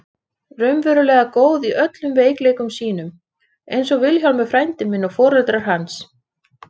Nú er kominn tími til að útskýra hvað við er átt með heima í höll.